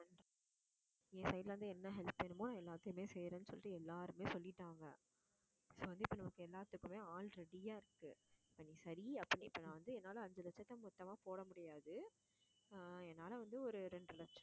என் side ல இருந்து என்ன help வேணுமோ எல்லாத்தையுமே செய்யறேன்னு சொல்லிட்டு எல்லாருமே சொல்லிட்டாங்க so வந்து இப்ப நமக்கு எல்லாத்துக்குமே ஆள் ready ஆ இருக்கு நீ சரி அப்படின்னு இப்ப நான் வந்து என்னால அஞ்சு லட்சத்தை மொத்தமா போட முடியாது ஆஹ் என்னால வந்து ஒரு இரண்டரை லட்சம்